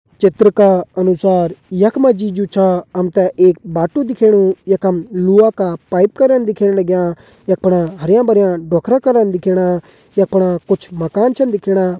चित्र का अनुसार यख मा जी जु छा हम तें एक बाटू दिखेणु यखम लोहा का पाइप करन दिखेण लग्यां यख फणा हरयां भर्यां डोखरा कर दिखेणा यख फणा कुछ माकन छन दिखेणा।